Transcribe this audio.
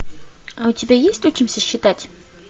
а у тебя есть учимся считать